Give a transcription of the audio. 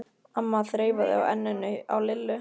amma þreifaði á enninu á Lillu.